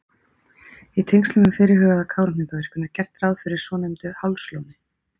Í tengslum við fyrirhugaða Kárahnjúkavirkjun er gert ráð fyrir svonefndu Hálslóni.